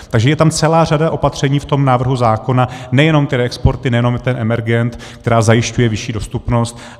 Takže je tam celá řada opatření v tom návrhu zákona, nejenom ty reexporty, nejenom ten emergent, která zajišťuje vyšší dostupnost.